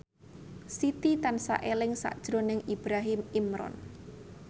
Siti tansah eling sakjroning Ibrahim Imran